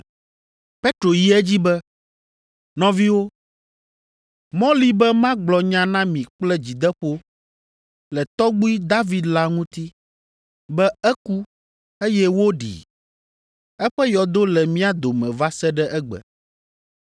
Petro yi edzi be, “Nɔviwo, mɔ li be magblɔ nya na mi kple dzideƒo le tɔgbui David la ŋuti, be eku, eye woɖii, eƒe yɔdo le mía dome va se ɖe egbe.